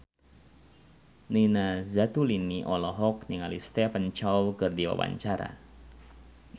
Nina Zatulini olohok ningali Stephen Chow keur diwawancara